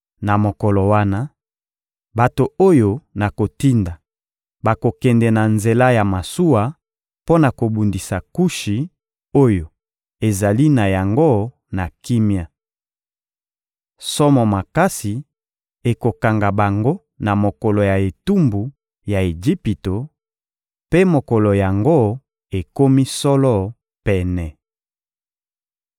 Na mokolo wana, bato oyo nakotinda bakokende na nzela ya masuwa mpo na kobundisa Kushi oyo ezali na yango na kimia. Somo makasi ekokanga bango na mokolo ya etumbu ya Ejipito; mpe mokolo yango ekomi solo pene.